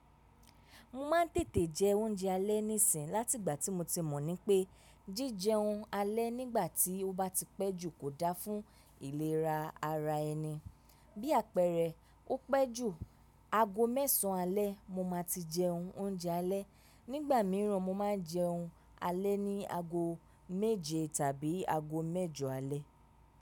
Mo ma n tètè jẹ oúnjẹ alẹ́ nísìnyí láti ìgbà tí mo ti mọ̀ ní pé jíjẹun alẹ́ nígbà tí ó bá ti pẹ́ jù kò dáa fún ìlera ara ẹni. Bí àpẹẹrẹ, o pẹ́ jù ago mẹ́sàn alẹ́ mo máa ti jẹ oúnjẹ alẹ́. Nígbà míràn mo máa jẹun alẹ́ ní ago méje tàbí ago mẹ́jọ alẹ́.